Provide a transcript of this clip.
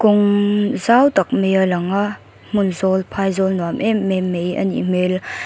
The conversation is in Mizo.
kawng zau tak mai a lang a hmun zawl phaizawl nuam emem mai anih hmel--